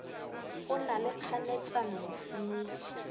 go na le kganetšano mošomiši